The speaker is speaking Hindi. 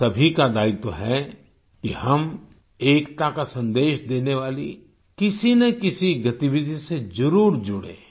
हम सभी का दायित्व है कि हम एकता का संदेश देने वाली किसीनाकिसी गतिविधि से जरुर जुड़ें